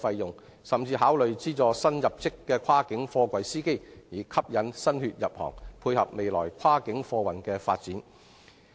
政府甚至可考慮向新入職的跨境貨櫃司機提供資助，以吸引新血入行，配合未來跨境貨運的發展。